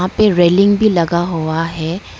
ये रेलिंग भी लगा हुआ है।